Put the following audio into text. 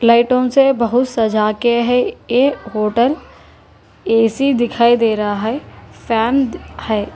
लाइटों से बहुत सजा के है ये होटल ए_सी दिखाई दे रहा है फैन है।